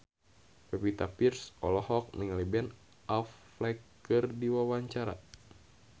Pevita Pearce olohok ningali Ben Affleck keur diwawancara